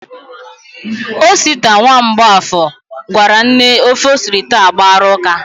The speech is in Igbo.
Osita, nwa Mgbọafọ, gwara nne ofe o siri taa agbara ụ́ká.